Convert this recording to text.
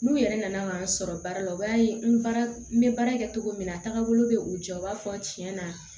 N'u yɛrɛ nana ka n sɔrɔ baara la u b'a ye n baara n bɛ baara kɛ cogo min na a taagabolo bɛ u jɔ u b'a fɔ tiɲɛ na